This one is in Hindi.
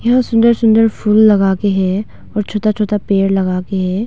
यह सुंदर सुंदर फूल लगा के है और छोटा छोटा पेड़ लगा के है।